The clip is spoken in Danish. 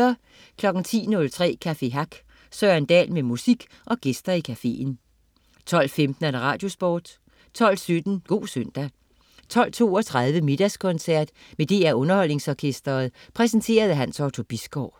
10.03 Café Hack. Søren Dahl med musik og gæster i cafeen 12.15 Radiosporten 12.17 God søndag 12.32 Middagskoncert med DR UnderholdningsOrkestret. Præsenteret af Hans Otto Bisgaard